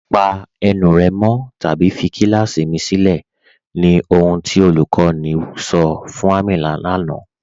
Pa ènù rẹ́ mọ̀ tàbí fí kílàsí mì sìlẹ̀, ní ohun tí olúkọ̀ní sọ̀ fún Àmínà lánà.